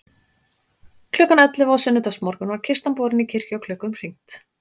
Klukkan ellefu á sunnudagsmorgun var kistan borin í kirkju og klukkum hringt.